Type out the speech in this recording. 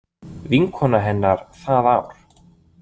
Vinkona hennar það ár.